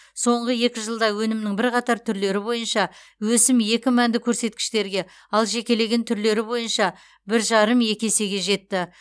соңғы екі жылда өнімнің бірқатар түрлері бойынша өсім екі мәнді көрсеткіштерге ал жекелеген түрлері бойынша бір жарым екі есеге жетті